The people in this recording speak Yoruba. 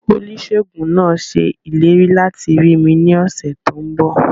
Oníṣèègùn náà ṣe ìlérí láti rí mi ní ọ̀sẹ̀ tó n bọ̀